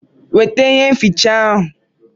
Weta ireza ahụ!